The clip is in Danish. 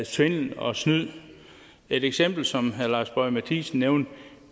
svindel og snyd et eksempel som herre lars boje mathiesen nævnte